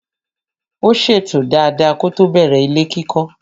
Ó ṣètò dada kótó bẹ̀rẹ̀ ilé kíkọ́.